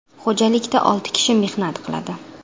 Xo‘jalikda olti kishi mehnat qiladi.